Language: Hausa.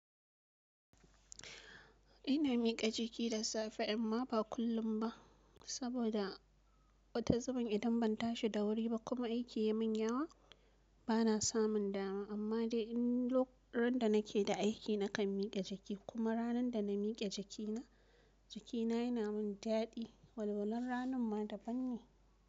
Ina mika jiki da safe amma ba kullum ba. Saboda wata zuben idan ban tashi da wuri ba kuma aiki ya min yawa bana samun dama. Amma dai in loku ran da nake da aiki nakan mika jiki kuma ranar da na mike jakina, jakina yana min daɗi. Walwalan ranan ma daban ne.